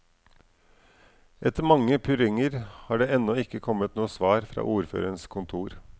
Etter mange purringer har det ennå ikke kommet noe svar fra ordførerens kontor.